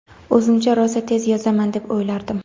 O‘zimcha rosa tez yozaman deb o‘ylardim.